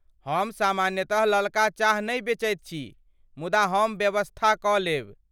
हम सामान्यतः ललका चाह नहि बेचैत छी, मुदा हम व्यवस्था कऽ देब।